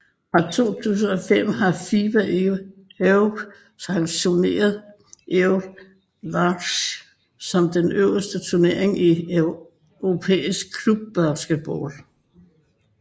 Fra 2005 har FIBA Europe sanktioneret Euroleague som den øverste turnering i europæisk klubbasketball